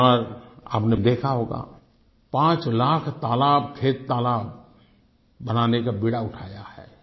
इस बार आपने देखा होगा 5 लाख तालाब खेततालाब बनाने का बीड़ा उठाया है